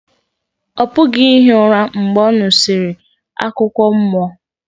ọ pụghị ihi ụra mgbe ọ nụsịrị akụkọ mmụọ